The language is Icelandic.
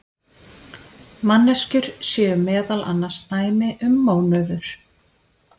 manneskjur séu meðal annars dæmi um mónöður